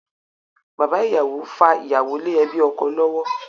Bàbá ìyàwó fa ìyàwó lé ẹbí ọkọ lọ́wọ́.